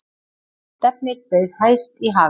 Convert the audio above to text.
Stefnir bauð hæst í Haga